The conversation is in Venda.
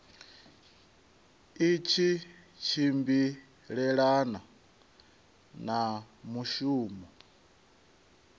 i tshi tshimbilelana na mushumo